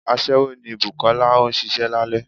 aṣẹwo ní bùkolá, o n sìsé lálẹ